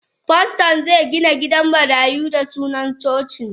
Paston ze Gina gidan marayu da suna cocin.